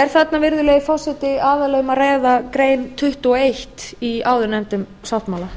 er þarna virðulegi forseti aðallega um að ræða grein tuttugu og eitt í áðurnefndum sáttmála